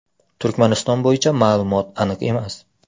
Turkmaniston bo‘yicha ma’lumot aniq emas.